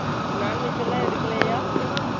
Non - veg எல்லாம் எடுக்கலையா?